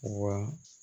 Wa